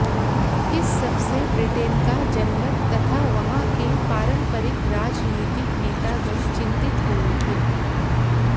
इस सबसे ब्रिटेन का जनमत तथा वहां के पारंपरिक राजनीतिक नेतागण चिंतित हो उठे